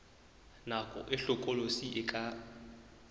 nako e hlokolosi e ka